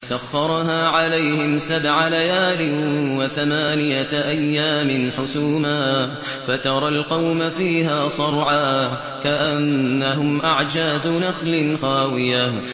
سَخَّرَهَا عَلَيْهِمْ سَبْعَ لَيَالٍ وَثَمَانِيَةَ أَيَّامٍ حُسُومًا فَتَرَى الْقَوْمَ فِيهَا صَرْعَىٰ كَأَنَّهُمْ أَعْجَازُ نَخْلٍ خَاوِيَةٍ